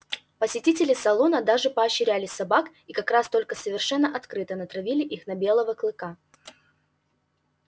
посетители салона даже поощряли собак и как раз только совершенно открыто натравили их на белого клыка